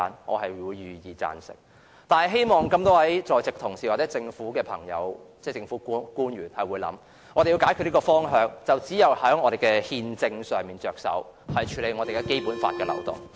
我願意贊成，但希望在席同事和政府官員多加考慮，解決房屋問題只有從憲政上着手，必須處理《基本法》的漏洞。